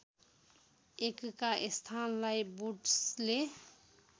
एकका स्थानलाई बुड्सले